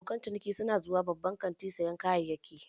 Abokan ciniki su na zuwa babban kantin don sayan kayayyaki.